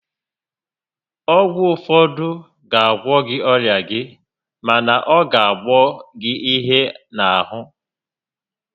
Ọgwụ ụfọdụ ga agwọ ọrịa gị mana ọ ga qboọ gi ihe n'ahụ